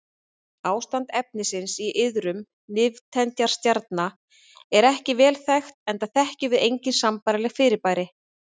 Ástand efnisins í iðrum nifteindastjarna er ekki vel þekkt enda þekkjum við engin sambærileg fyrirbæri.